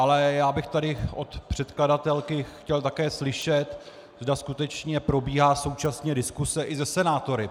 Ale já bych tady od předkladatelky chtěl také slyšet, zda skutečně probíhá současně diskuse i se senátory.